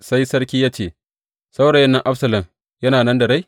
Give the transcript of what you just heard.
Sai sarki ya ce, Saurayin nan Absalom yana nan da rai?